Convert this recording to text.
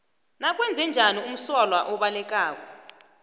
nakwenzenjani umsolwa obalekako